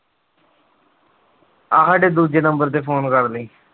ਆਹ ਸਾਡੇ ਦੂਜੇ number ਤੇ phone ਕਰ ਲਈ।